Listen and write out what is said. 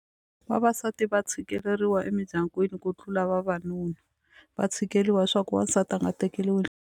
Vavasati va tshikeleriwa emindyangwini ku tlula vavanuna va tshikeleriwa swa ku wansati a nga tekeriwi .